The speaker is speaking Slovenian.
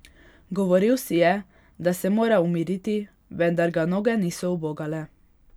Govoril si je, da se mora umiriti, vendar ga noge niso ubogale.